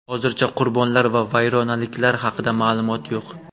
Hozircha qurbonlar va vayronaliklar haqida ma’lumot yo‘q.